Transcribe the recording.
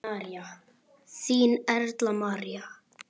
Þín, Erla María.